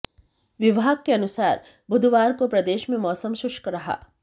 विभाग के अनुसार बुधवार को प्रदेश में मौसम शुष्क रहा